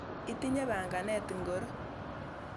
Itinye panganet ingoro?